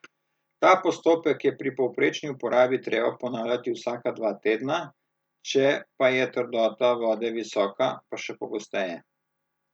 Ta postopek je pri povprečni uporabi treba ponavljati vsaka dva tedna, če pa je trdota vode visoka, pa še pogosteje.